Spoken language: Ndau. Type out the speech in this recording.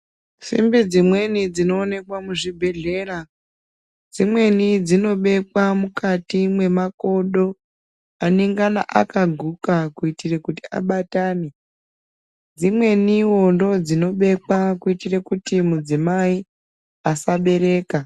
Simbi dzimweni dzinoonekwa muzvibhedhlera dzimweni dzinobekwa mukati mwemakodo anengana akaguka. Kuitire kuti abatane dzimwenivo ndodzinobekwa kuitire kuti mudzimai asabereka.